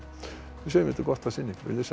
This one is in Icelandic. við segjum þetta gott að sinni verið þið sæl